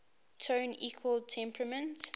tone equal temperament